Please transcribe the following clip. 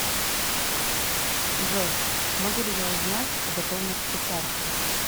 джой могу ли я узнать о готовности карты